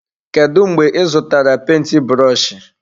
Kedụ mgbe ị zụtara penti brọshi?